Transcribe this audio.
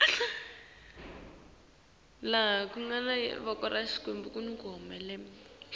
kufaka sikhalo ngekwalelwa